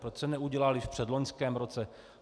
Proč se neudělaly v předloňském roce?